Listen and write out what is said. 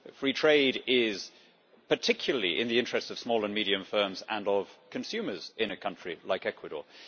Free trade is particularly in the interests of small and medium firms and of consumers in a country like Ecuador.